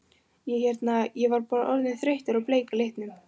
Ég hérna. ég var bara orðinn þreyttur á bleika litnum.